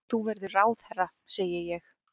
Þú verður ráðherra, segi ég.